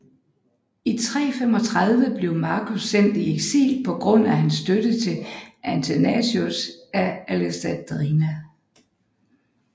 I 335 blev Marcus sendt i eksil på grund af hans støtte til Athanasius af Alexandria